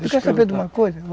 Tu quer saber de uma coisa?